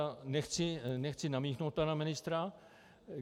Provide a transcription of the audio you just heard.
A nechci namíchnout pana ministra.